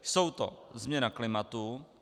Jsou to: změna klimatu.